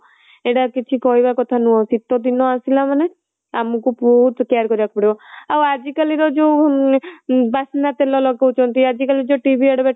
ଏଇଟା କିଛି କହିବା କଥା ନୁହଁ ଶୀତ ଦିନ ଆସିଲା ମାନେ ଆମକୁ ବହୁତ care କରିବାକୁ ପଡିବ ଆଉ ଆଜି କାଲିକା ଯୋଉ ବାନ୍ନା ତେଲ ଲଗାଉଛନ୍ତି ଆଜି କାଲି ଯୋଉ TV advertisement